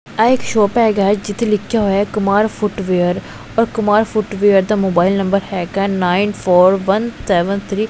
ਆਹ ਇੱਕ ਸ਼ੋਪ ਹੈਗਾ ਜਿੱਥੇ ਲਿਖਿਆ ਹੋਇਆ ਕੁਮਾਰ ਫੁੱਟ ਵੇਅਰ ਔਰ ਕੁਮਾਰ ਫੁੱਟ ਵੇਅਰ ਦਾ ਮੋਬਾਈਲ ਨੰਬਰ ਹੈਗਾ nine four one seven three.